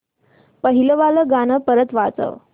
पहिलं वालं गाणं परत वाजव